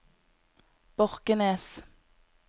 Borkenes